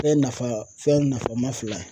Fɛn nafa fɛn nafa ma fila